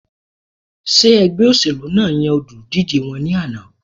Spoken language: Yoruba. Ṣé ẹgbẹ́ óṣèlú náà yan olùdíjé wọn ní àná?